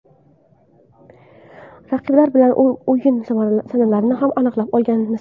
Raqiblar bilan o‘yin sanalarini ham aniqlab olganmiz.